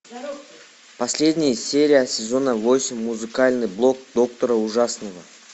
последняя серия сезона восемь музыкальный блок доктора ужасного